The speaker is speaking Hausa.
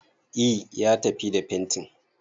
E, ya tafi da fentin.